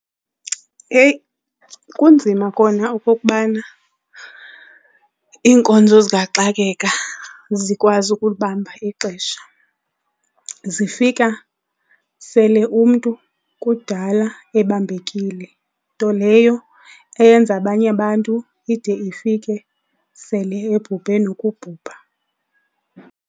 Eyi kunzima kona okokubana iinkonzo zikaxakeka zikwazi ukulibamba ixesha. Zifika sele umntu kudala ebambekile, nto leyo eyenza abanye abantu ide ifike sele ebhubhe nokubhubha.